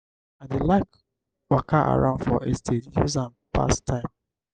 i dey like waka around for estate use am pass time.